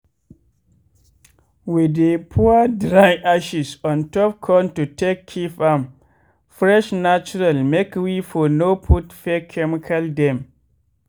we dey pour dry ashes ontop corn to take keep am fresh natural make we for no put fake chemical dem.